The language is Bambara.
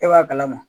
E b'a kalama